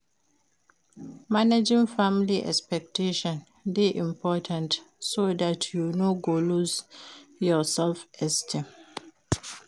Managing family expectations de important so that you no go loose yor self esteem